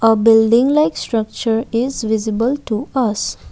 a building like structure is visible to us.